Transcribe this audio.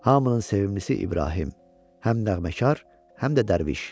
Hamının sevimlisi İbrahim, həm nəğməkar, həm də dərviş.